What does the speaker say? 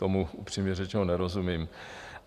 Tomu upřímně řečeně nerozumím.